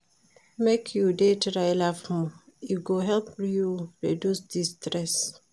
Make you dey try laugh more, e go help you reduce di stress.